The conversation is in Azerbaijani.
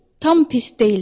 Tam pis deyil dedi.